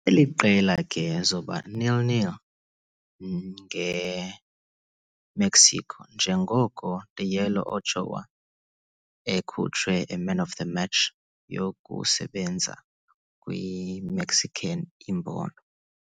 eli qela ke zoba 0-0 nge-Mexico, njengoko Guillermo Ochoa ekhutshwe a man of the match yokusebenza kwi-Mexican imbono.